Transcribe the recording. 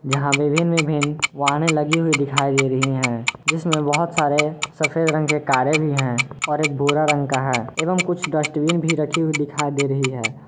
जहां विभिन्न विभिन्न वाहने लगी हुई दिखाई दे रही हैं जिसमें बहुत सारे सफेद रंग के कारे भी हैं और एक भूरा रंग का है एवं कुछ डस्टबिन भी रखी हुई दिखाई दे रही है।